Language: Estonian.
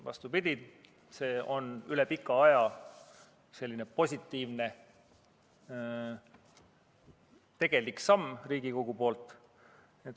Vastupidi, see on üle pika aja selline positiivne, tegelik samm Riigikogu poolt.